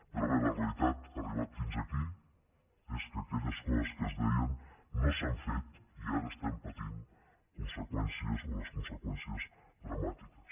però bé la realitat ha arribat fins aquí és que aquelles coses que es deien no s’han fet i ara n’estem patint conseqüències o les conseqüències dramàtiques